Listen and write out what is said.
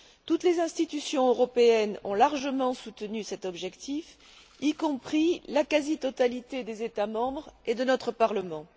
Toutes les institutions européennes ont largement soutenu cet objectif, y compris la quasi totalité des États membres et de notre Parlement.